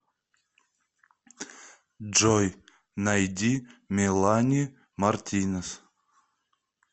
джой найди мелани мартинес